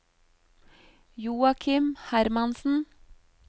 Joachim Hermansen